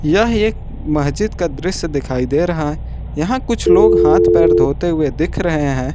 यह एक मस्जिद का दृश्य दिखाई दे रहा है यहां कुछ लोग हाथ पैर धोते हुए दिख रहे हैं।